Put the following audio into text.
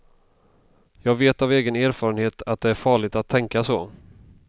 Jag vet av egen erfarenhet att det är farligt att tänka så.